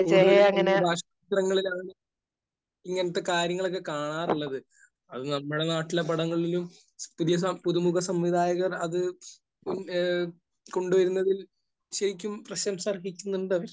കൂടുതലും ഈ അന്യഭാഷാചിത്രങ്ങളിലാണ് ഇങ്ങനത്തെ കാര്യങ്ങളൊക്കെ കാണാറുള്ളത്. അത് നമ്മുടെ നാട്ടിലെ പടങ്ങളിലും പുതിയസം...പുതുമുഖസംവിധായകർ അത് ഏഹ് കൊണ്ട് വരുന്നതിൽ ശരിക്കും പ്രശംസ അർഹിക്കുന്നുണ്ട്.